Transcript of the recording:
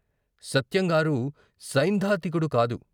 సత్యంగారు సైద్ధాంతికుడు కాదు.